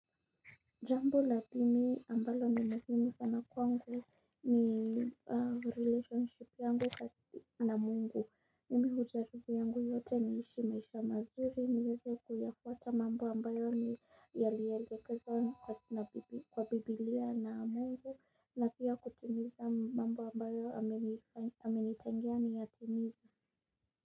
Jambo la pili ambalo ni muhimu sana kwangu ni relationship yangu na mungu, mimi hujaribu yangu yote niishi maisha mazuri, niweze kuyafwata mambo ambayo ni yalielekezwa na kwa biblia na mungu, na pia kutimiza mambo ambayo amenitengea niyatimize.